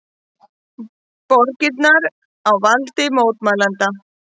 Borgirnar á valdi mótmælenda